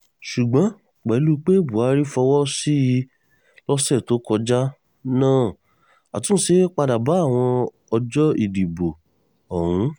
ṣùgbọ́n pẹ̀lú pé buhari fọwọ́ sí i lọ́sẹ̀ tó kọjá náà àtúnṣe padà bá àwọn ọjọ́ ìdìbò ọ̀hún